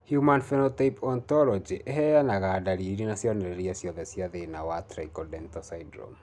Human Phenotype Ontology ĩheanaga ndariri na cionereria ciothe cia thĩna wa Trichodental syndrome.